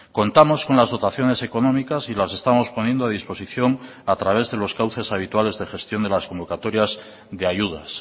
contamos con las dotaciones económicas y las estamos poniendo a disposición a través de los cauces habituales de gestión de las convocatorias de ayudas